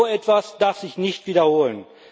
So etwas darf sich nicht wiederholen.